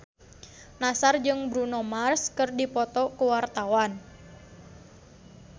Nassar jeung Bruno Mars keur dipoto ku wartawan